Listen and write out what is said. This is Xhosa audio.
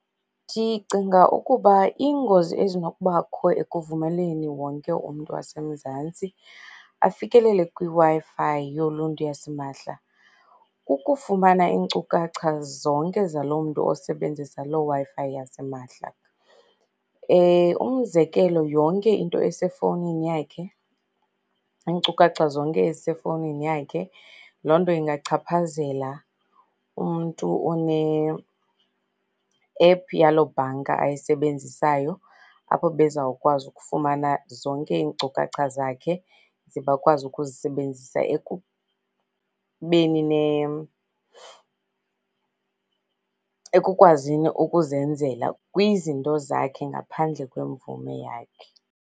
Ndicinga ukuba iingozi ezinokubakho ekuvumeleni wonke umntu waseMzantsi afikelele kwiWi-Fi yoluntu yasimahla kukufumana iinkcukacha zonke zaloo mntu osebenzisa loo WiiFi yasimahla. Umzekelo yonke into esefowunini yakhe, iinkcukacha zonke ezisefowunini yakhe, loo nto ingachaphazela umntu one-app yaloo bhanka ayisebenzisayo, apho bezawukwazi ukufumana zonke iinkcukacha zakhe ze bakwazi ukuzisebenzisa ekubeni ekukwazini ukuzenzela kwizinto zakhe ngaphandle kwemvume yakhe.